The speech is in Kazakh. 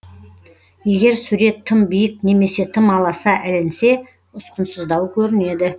егер сурет тым биік немесе тым аласа ілінсе ұсқынсыздау көрінеді